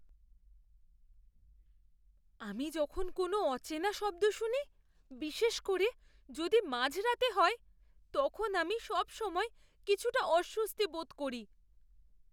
আমি যখন কোনো অচেনা শব্দ শুনি, বিশেষ করে যদি মাঝরাতে হয়, তখন আমি সবসময় কিছুটা অস্বস্তি বোধ করি।